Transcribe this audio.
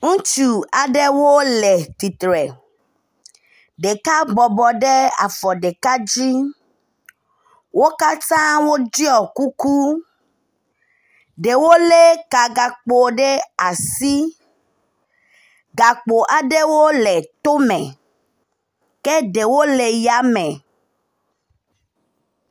Ŋutsu aɖewo le titre ɖeka bɔbɔ ɖe afɔ ɖeka dzi wókatã woɖiɔ kuku ɖewo le ka gakpo ɖe asi gakpo aɖewo le tóme ke ɖewo le yáme